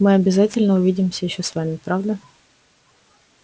мы обязательно увидимся ещё с вами правда